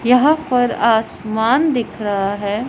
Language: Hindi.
यहां पर आसमान दिख रहा हैं।